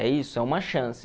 É isso, é uma chance.